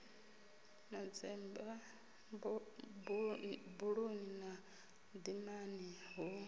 manzemba buluni na dimani hu